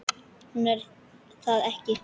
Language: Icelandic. En hún er það ekki.